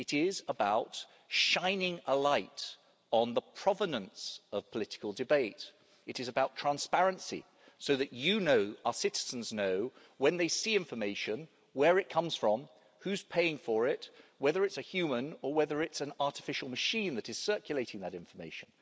It is about shining a light on the provenance of political debate. It is about transparency, so that our citizens know when they see information where it comes from, who's paying for it, and whether it's a human or an artificial machine that is circulating that information.